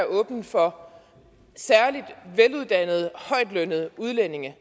åben for særlig veluddannede højtlønnede udlændinge